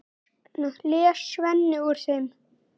les Svenni úr þeim.